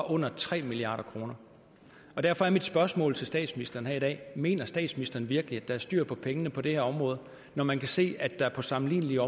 under tre milliard kroner derfor er mit spørgsmål til statsministeren her i dag mener statsministeren virkelig at der er styr på pengene på det her område når man kan se at der på sammenlignelige